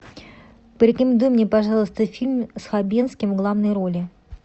порекомендуй мне пожалуйста фильм с хабенским в главной роли